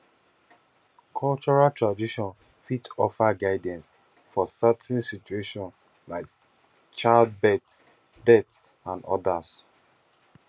cultural traditon fit offer guidance for certain situations like child birth death and odas